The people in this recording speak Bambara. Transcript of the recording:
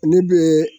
Ne bɛ